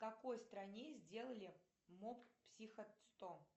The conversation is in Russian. в какой стране сделали моб психо сто